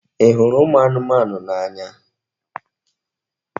Ị hụrụ ụmụ anụmanụ n'anya?